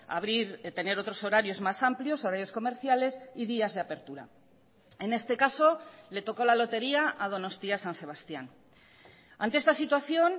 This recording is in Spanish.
abrir tener otros horarios más amplios horarios comerciales y días de apertura en este caso le tocó la lotería a donostia san sebastián ante esta situación